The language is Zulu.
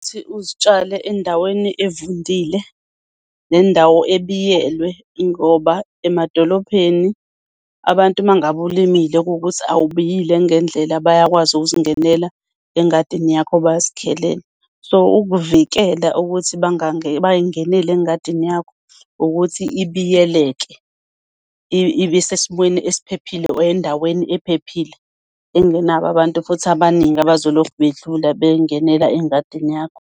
Uzitshale endaweni evundile nendawo ebiyelwe, ngoba emadolobheni abantu uma ngabe ulimile, kuwukuthi awubiyile ngendlela, bayakwazi ukuzingenela engadini yakho bazikhelele. So ukuvikela ukuthi bay'ngenele engadini yakho, ukuthi ibiyeleke, ibe esimweni esiphephile or endaweni ephephile, engenabo abantu futhi abaningi abazolokhu bedlula bey'ngenela engadini yakho.